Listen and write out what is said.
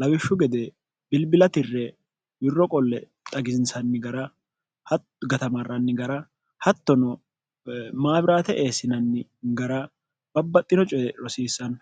lawishshu gede bilbilatirre wirro qolle xagisinsanni gara hato gatamarranni gara hattono maabiraate eessinanni gara babbaxxino coye rosiissanno